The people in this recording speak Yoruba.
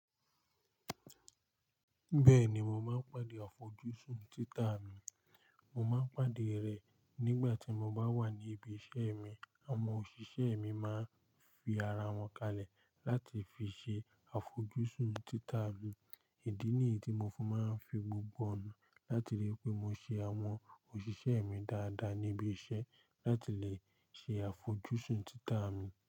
Bẹ́ẹ̀ni, mo máa ń pàdé àfojúsùn títà mi. Mo máa ń pàdé rẹ̀ nígbà tí mo bá wà ní ibi iṣẹ́ mi. Àwọn òṣìṣẹ́ mi máa ń fi ara wọn kalẹ̀ láti fi ṣe àfojúsùn títà mi. Ìdí nìyí tí mo fún máa ń fi gbogbo ọ̀nà láti lè pé mo ṣe àwọn òṣìṣẹ́ mi dáadáa níbi iṣẹ́ láti lè ṣe àfojúsùn títà mi.